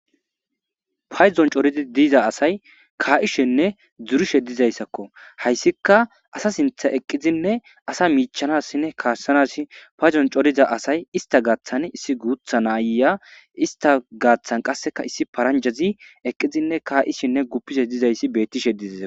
Payzon coridi diiza asay kaa'ishenne dzurishe dizayssakko hayssika asa sintha eqqizinne asa miichanassinne kaashsanasi payzon coriza asay ista gaaththan issi guutha naayya ista gaaththan qasseka issi paranjazi eqqizinne kaa7ishenne guppishe dizayssi beettishe dizasa.